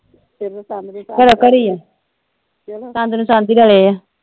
ਘਰੋਂ ਘਰੀ ਆ ਸ਼ੰਦ ਨੂੰ ਸ਼ੰਦ ਈ ਰਲੇ ਆ।